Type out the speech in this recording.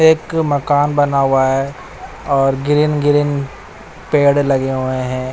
एक मकान बना हुआ है और ग्रीन ग्रीन पेड़ लगे हुए हैं।